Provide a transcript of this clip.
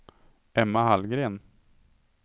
Emma Hallgren